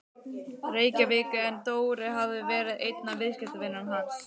Reykjavík en Dóri hafði verið einn af viðskiptavinum hans.